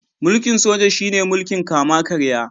Mulkin Soja shi ne mulkin kama karya.